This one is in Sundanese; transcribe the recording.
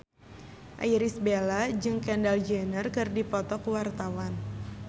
Irish Bella jeung Kendall Jenner keur dipoto ku wartawan